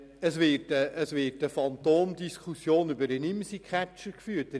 Es wird eine Phantomdiskussion über den Imsi-Catcher geführt.